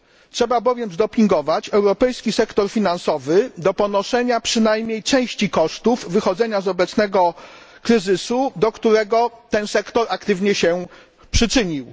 Trzeba bowiem zdopingować europejski sektor finansowy do ponoszenia przynajmniej części kosztów wychodzenia z obecnego kryzysu, do którego ten sektor aktywnie się przyczynił.